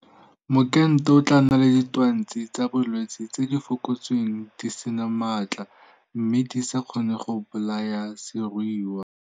Mokento o tla nna le ditwatsi tsa bolwetse tse di fokotsweng di se na maatla mme di sa kgone go bolaya seruiwa.